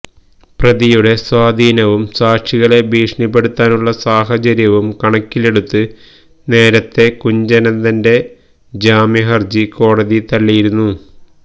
പ്രതിയുടെ സ്വാധീനവും സാക്ഷികളെ ഭീഷണിപ്പെടുത്താനുള്ള സാഹചര്യവും കണക്കിലെടുത്ത് നേരത്തെ കുഞ്ഞനന്തന്റെ ജാമ്യ ഹര്ജി കോടതി തള്ളിയിരുന്നു